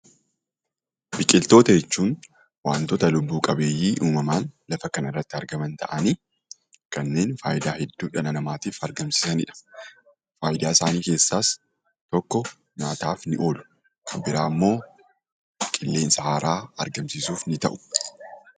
Biqiltoota jechuun waantota lubbu qabeeyyii uumamaan lafa kanarratti argaman ta'anii kanneen faayidaa hedduu dhala namaatiif argamsiisanidha. Faayidaasaanii keessaas tokko nyaataaf ni oolu, kabiraammoo qilleensa haaraa argamsiisuf ni ta'u.